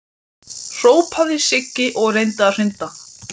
hrópaði Siggi og reyndi að hrinda